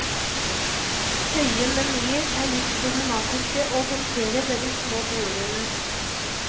Høye menyer er litt problematiske å håndtere ved de små bordene.